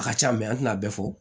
A ka ca an tɛna a bɛɛ fɔ